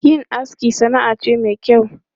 Yin aski sana'a ce mai kyau.